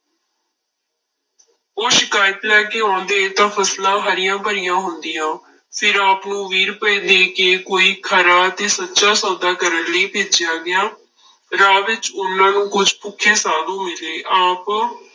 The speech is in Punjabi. ਉਹ ਸ਼ਿਕਾਇਤ ਲੈ ਕੇ ਆਉਂਦੇ ਤਾਂ ਫਸਲਾਂ ਹਰੀਆਂ ਭਰੀਆਂ ਹੁੰਦੀਆਂ, ਫਿਰ ਆਪ ਨੂੰ ਵੀਹ ਰੁਪਏ ਦੇ ਕੇ ਕੋਈ ਖਰਾ ਤੇ ਸੱਚਾ ਸੌਦਾ ਕਰਨ ਲਈ ਭੇਜਿਆ ਗਿਆ, ਰਾਹ ਵਿੱਚ ਉਹਨਾਂ ਨੂੰ ਕੁੱਝ ਭੁੱਖੇ ਸਾਧੂ ਮਿਲੇ ਆਪ